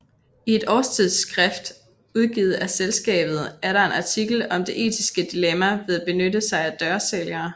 I et årstidsskrift udgivet af selskabet er der en artikel om det etiske dilemma ved at benytte sig af dørsælgere